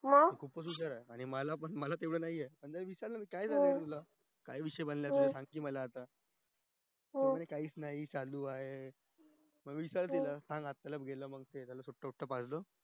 आणि मला तेवढ नाही येत मी विचारलं काय झालंय तुला आयुष्य बनलं आता माहित ये मला म्हणतो काही च नाही चालू आहे